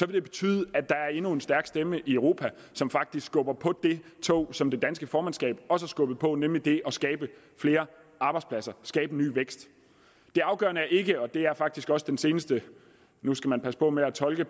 det betyde at der er endnu en stærk stemme i europa som faktisk skubber på det tog som det danske formandskab også skubbede på nemlig det at skabe flere arbejdspladser skabe ny vækst det er afgørende ikke og det er faktisk også den seneste nu skal man passe på med at tolke